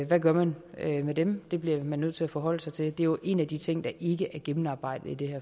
hvad gør man med dem det bliver man nødt til at forholde sig til det er jo en af de ting der ikke er gennemarbejdet i det